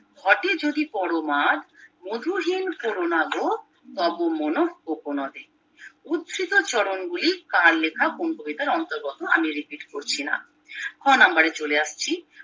ঘটে যদি পরমাদ মধুহীন কোরোনাগো তবো মনো কোকনাদে উধৃত চরণ গুলি কার লেখা কোন কবিতার অন্তর্গত আমি repeat করছিনা খ নম্বরে চলে আসছি